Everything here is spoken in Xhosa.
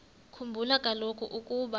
khumbula kaloku ukuba